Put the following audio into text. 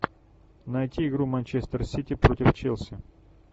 найти игру манчестер сити против челси